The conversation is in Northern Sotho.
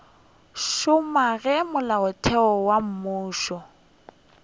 šoma ge molaotheo wo mofsa